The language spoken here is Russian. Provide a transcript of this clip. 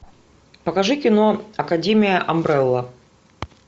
покажи кино академия амбрелла